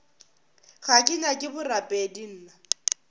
ga ke nyake borapedi nna